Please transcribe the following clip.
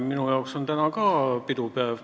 Minu jaoks on täna ka pidupäev.